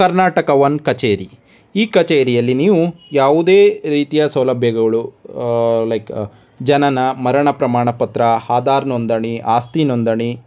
ಕರ್ನಾಟಕದ ಒನ್ ಕಚೇರಿ ಈ ಕಚೇರಿಯಲ್ಲಿ ನೀವು ಯಾವುದೇ ರೀತಿಯ ಸೌಲಭ್ಯಗಳು ಲೈಕ್ ಜನನ ಮರಣ ಪ್ರಮಾಣ ಪತ್ರ ಆಧಾರ್ ನೋಂದನ ಅಸ್ತಿ ನೋಂದನ.